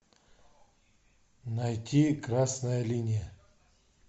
найти красная линия